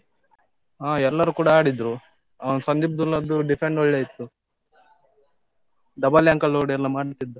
ಹಾ, ಎಲ್ಲರು ಕೂಡಾ ಆಡಿದ್ರು. ಅವನ್ ಸಂದೀಪ್ ದುಲ್ಲದ್ದು defend ಒಳ್ಳೆ ಇತ್ತು. double ankle load ಏನೋ ಮಾಡ್ತಿದ್ದ.